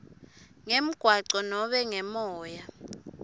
ngemgwaco nobe ngemoya